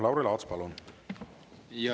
Lauri Laats, palun!